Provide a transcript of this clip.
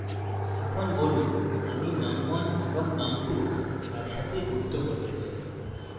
এখন বলুন আমি num1 এবং num2 একসাথে যুক্ত করতে চাই